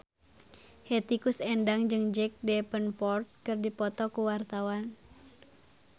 Hetty Koes Endang jeung Jack Davenport keur dipoto ku wartawan